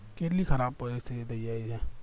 કેટલી ખરાબ પરિસ્થિતી થય જાય છે